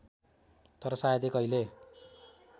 तर सायदै कहिल्यै